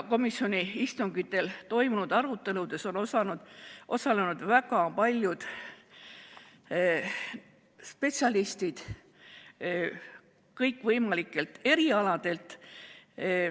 Komisjoni istungitel toimunud aruteludes on osalenud väga paljud spetsialistid kõikvõimalikelt erialadelt.